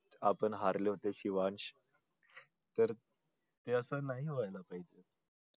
आपण हरले होते शिवांश तर हे असं नाही व्हायला पाहिजे.